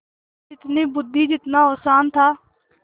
जितनी बुद्वि जितना औसान था